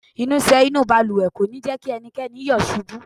Ìnusẹ̀ inúu balùwẹ̀ kò ní jẹ́ kí ẹnikẹ́ni yọ̀ ṣubú.